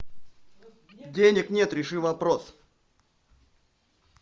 денег нет реши вопрос